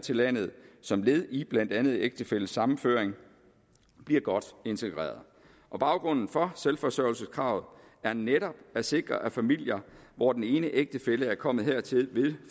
til landet som led i blandt andet ægtefællesammenføring bliver godt integreret baggrunden for selvforsørgelseskravet er netop at sikre at familier hvor den ene ægtefælle er kommet hertil ved